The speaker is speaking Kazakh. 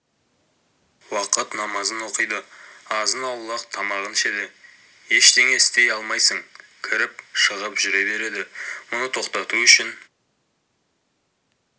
уақыт намазын оқиды азын-аулақ тамағын ішеді ештеңе істей алмайсың кіріп-шығып жүре береді мұны тоқтату үшін